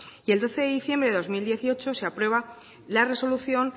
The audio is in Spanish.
y el doce de diciembre de dos mil dieciocho se aprueba la resolución